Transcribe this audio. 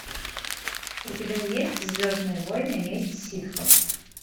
у тебя есть звездные войны месть ситхов